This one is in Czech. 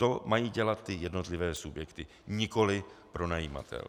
To mají dělat ty jednotlivé subjekty, nikoliv pronajímatel.